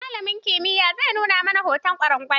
Malamin kimiyya zai nuna mana hoton ƙwarangal.